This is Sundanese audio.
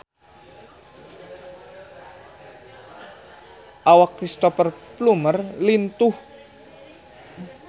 Awak Cristhoper Plumer lintuh